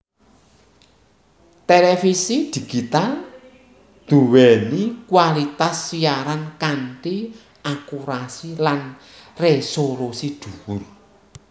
Télévisi Digital duwéni kualitas siaran kanthi akurasi lan resolusi duwur